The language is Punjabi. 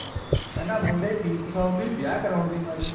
ਕਹਿੰਦਾ ਮੁੰਡੇ ਕਿਉਂ ਫਸਾਉਂਦੀ ਵਿਆਹ ਕਰਨ ਦੀ ਮਾਰੀ